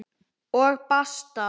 Og basta!